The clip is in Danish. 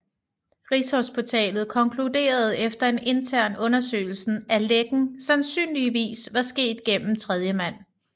Rigshospitalet konkluderede efter en intern undersøgelse at lækken sandsynligvis var sket gennem tredjemand